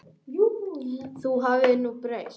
Það hafi nú breyst.